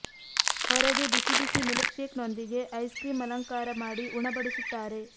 ಹೊರಗೆ ಬಿಸಿಬಿಸಿ ಮೀಲ್ಕ್ಶೇಕ್ ನೊಂದಿಗೆ ಐಸ್ಕ್ರೀಂ ಅಲಂಕಾರ ಮಾಡಿ ಉಣಬಡಿ ಸುತ್ತಾರೆ